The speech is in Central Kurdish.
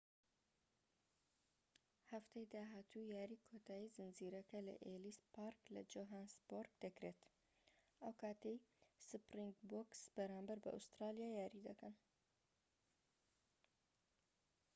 هەفتەی داهاتوو یاریی کۆتایی زنجیرەکە لە ئێلیس پارک لە جۆهانسبۆرگ دەکرێت ئەو کاتەی سپرینگبۆکس بەرامبەر بە ئوسترالیا یاری دەکەن